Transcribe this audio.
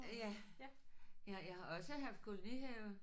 Ja. Jeg jeg har også haft kolonihave